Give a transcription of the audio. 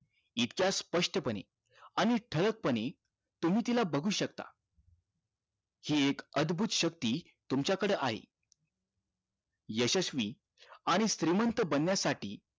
इतक्या स्प्ष्ट पणे आणि ठळक पणे तुम्ही तिला बघू शकता हि एक अदभूत शक्ती तुमच्या कडे आहे यशस्वी आणि श्रीमंत बनण्यासाठी